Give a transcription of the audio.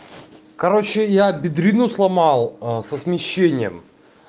короче я бедрену сломал со смещением